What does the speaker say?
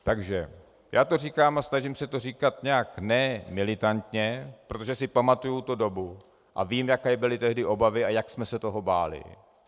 Takže já to říkám, a snažím se to říkat nějak ne militantně, protože si pamatuju tu dobu a vím, jaké byly tehdy obavy a jak jsme se toho báli.